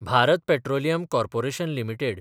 Bharat petroleum corporation limited